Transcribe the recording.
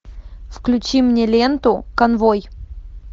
включи мне ленту конвой